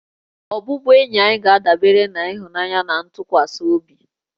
Ọbụbụenyi anyị ga-adabere na ịhụnanya na ntụkwasị obi